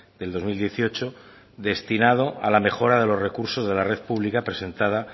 del dos mil dieciocho destinado a la mejora de los recursos de la red pública presentada